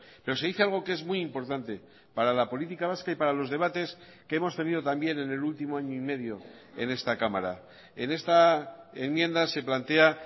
pero se dice algo que es muy importante para la política vasca y para los debates que hemos tenido también en el último año y medio en esta cámara en esta enmienda se plantea